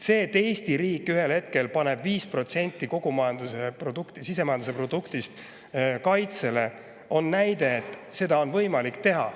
See, et Eesti riik ühel hetkel paneb 5% sisemajanduse produktist kaitsesse, näitab, et seda on võimalik teha.